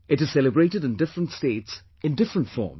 It is celebrated in different states in different forms